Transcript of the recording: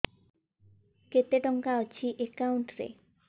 କେତେ ଟଙ୍କା ଅଛି ଏକାଉଣ୍ଟ୍ ରେ